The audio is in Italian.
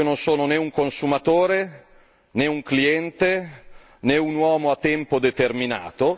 io non sono né un consumatore, né un cliente, né un uomo a tempo determinato.